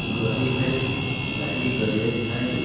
गाड़ी है। गाड़ी के गैरेज हई।